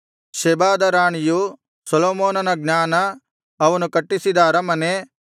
ಶೆಬಾದ ರಾಣಿಯು ಸೊಲೊಮೋನನ ಜ್ಞಾನ ಅವನು ಕಟ್ಟಿಸಿದ ಅರಮನೆ